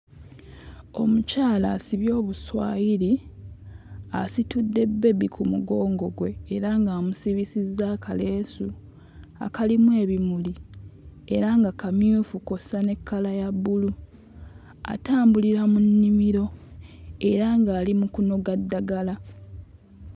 Omukyala asibye obuswayiri asitudde bbebi ku mugongo gwe era ng'amusibisizza akaleesu akalimu ebimuli era nga kamyufu kw'ossa ne kkala ya bbulu atambulira mu nnimiro era ng'ali mu kunoga ddagala.